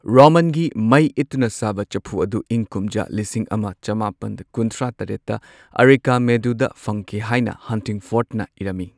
ꯔꯣꯃꯥꯟꯒꯤ ꯃꯩ ꯏꯠꯇꯨꯅ ꯁꯥꯕ ꯆꯐꯨ ꯑꯗꯨ ꯏꯪ ꯀꯨꯝꯖꯥ ꯂꯤꯁꯤꯡ ꯑꯃ ꯆꯃꯥꯄꯟ ꯀꯨꯟꯊ꯭ꯔꯥ ꯇꯔꯦꯠꯇ ꯑꯔꯤꯀꯥꯃꯦꯗꯨꯗ ꯐꯪꯈꯤ ꯍꯥꯏꯅ ꯍꯟꯇꯤꯡꯐꯣꯔꯗꯅ ꯏꯔꯝꯃꯤ꯫